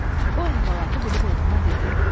O əhvalatı bilib oğluna dedi: